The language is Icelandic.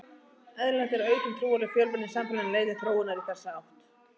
Eðlilegt er að aukin trúarleg fjölbreytni í samfélaginu leiði til þróunar í þessa átt.